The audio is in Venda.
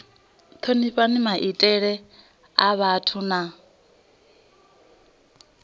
thonifha maitele a vhathu na